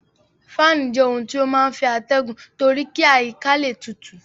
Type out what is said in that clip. Fáànù jẹ́ ohun tí ó máa ń fẹ́ atẹgun torí kí àyíká le tutù.